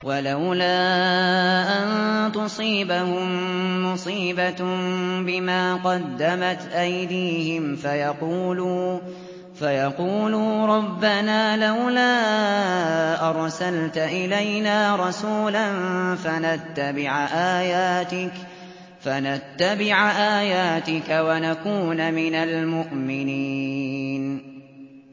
وَلَوْلَا أَن تُصِيبَهُم مُّصِيبَةٌ بِمَا قَدَّمَتْ أَيْدِيهِمْ فَيَقُولُوا رَبَّنَا لَوْلَا أَرْسَلْتَ إِلَيْنَا رَسُولًا فَنَتَّبِعَ آيَاتِكَ وَنَكُونَ مِنَ الْمُؤْمِنِينَ